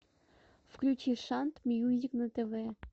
включи шант мьюзик на тв